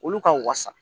Olu ka wasa